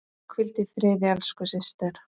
Hvíldu í friði elsku systir.